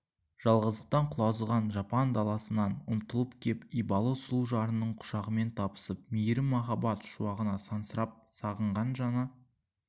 жалғыздықтың құлазыған жапан даласынан ұмтылып кеп ибалы сұлу жарының құшағымен табысып мейірім махаббат шуағын сансырап сағынған жаны